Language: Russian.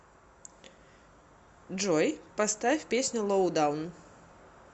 джой поставь песню лоудаун